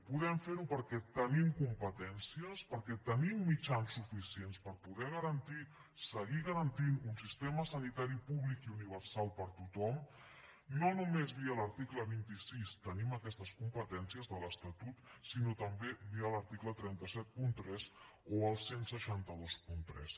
podem fer ho perquè tenim competències perquè tenim mitjans suficients per poder garantir seguir garantint un sistema sanitari públic i universal per a tothom no només via l’article vint sis tenim aquestes competències de l’estatut sinó també via l’article tres cents i setanta tres o el setze vint tres